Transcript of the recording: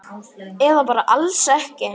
Eða bara alls ekki.